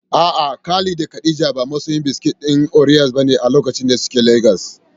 A'a, Khalid da Khadija ba masoya biskit ɗin Oreos bane a lokacin da suke Legas.